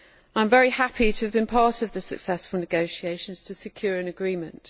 I am very happy to have been part of the successful negotiations to secure an agreement.